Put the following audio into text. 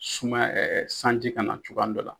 Sumaya sanji ka na cogoya dɔ la.